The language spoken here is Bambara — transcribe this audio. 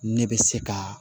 Ne bɛ se ka